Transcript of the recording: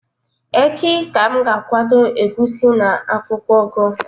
Echi ka m ga-akwadebe egusi na akwukwo ugu